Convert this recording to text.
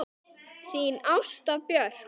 Þín Ásta Björk.